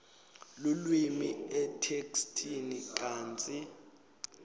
lulwimi etheksthini kantsi